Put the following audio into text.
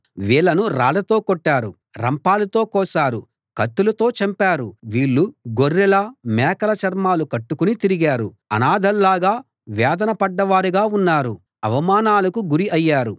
వీళ్ళను రాళ్ళతో కొట్టారు రంపాలతో కోశారు కత్తులతో చంపారు వీళ్ళు గొర్రెల మేకల చర్మాలు కట్టుకుని తిరిగారు అనాథల్లాగా వేదన పడ్డవారుగా ఉన్నారు అవమానాలకు గురి అయ్యారు